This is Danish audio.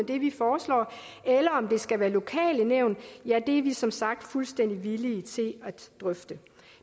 det vi foreslår eller om det skal være lokale nævn er vi som sagt fuldstændig villige til at drøfte